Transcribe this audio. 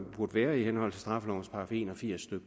burde være i henhold til straffelovens § en og firs stykke